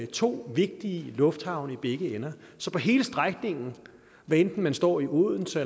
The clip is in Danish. to vigtige lufthavne i begge ender så på hele strækningen hvad enten man står i odense